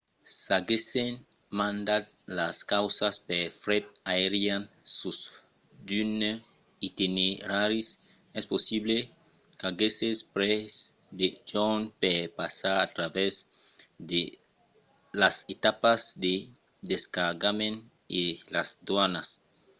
s'aguèssen mandat las causas per fret aerian sus d'unes itineraris es possible qu'aguèsse pres de jorns per passar a travèrs las etapas de descargament e las doanas